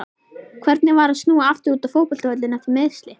Hvernig var að snúa aftur út á fótboltavöllinn eftir meiðsli?